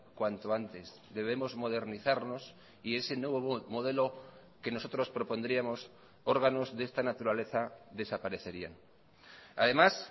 cuanto antes debemos modernizarnos y ese nuevo modelo que nosotros propondríamos órganos de esta naturaleza desaparecerían además